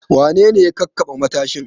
Wane ne ya kakkaɓe matashin?